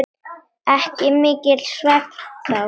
Ekki mikill svefn þá.